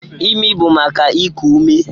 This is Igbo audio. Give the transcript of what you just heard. Ịmị bụ maka iku ume.